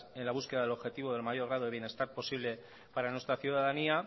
en la búsqueda del objetivo del mayor grado de bienestar posible para nuestra ciudadanía